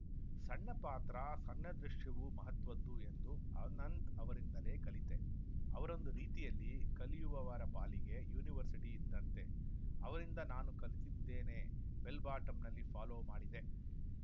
ಸಣ್ಣ ಪಾತ್ರ ಸಣ್ಣ ದೃಶ್ಯವೂ ಮಹತ್ವದ್ದು ಎಂದು ಅನಂತ್‌ ಅವರಿಂದಲೇ ಕಲಿತೆ ಅವರೊಂದು ರೀತಿಯಲ್ಲಿ ಕಲಿಯುವವರ ಪಾಲಿಗೆ ಯೂನಿವರ್ಸಿಟಿ ಇದ್ದಂತೆ ಅವರಿಂದ ನಾನು ಕಲಿತಿದ್ದೇನೆ ಬೆಲ್‌ ಬಾಟಂನಲ್ಲಿ ಫಾಲೋ ಮಾಡಿದೆ